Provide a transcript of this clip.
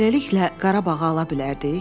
Eləliklə Qarabağı ala bilərdik?